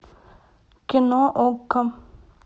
кино окко